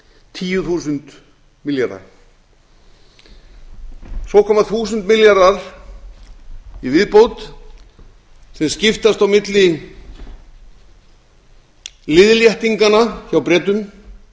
tíu þúsund milljarða svo koma þúsund milljarðar í viðbót sem skiptast á milli liðléttinganna hjá bretum